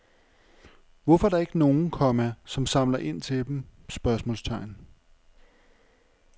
Hvorfor er der ikke nogen, komma som samler ind til dem? spørgsmålstegn